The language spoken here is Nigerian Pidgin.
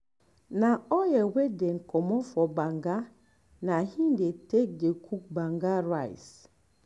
na the oil wey dem comot for banga na im dey take dey cook banga rice